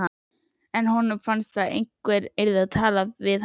En honum fannst að einhver yrði að tala við hana.